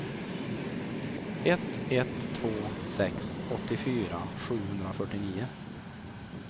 ett ett två sex åttiofyra sjuhundrafyrtionio